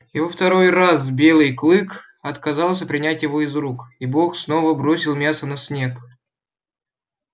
и во второй раз белый клык отказался принять его из рук и бог снова бросил мясо на снег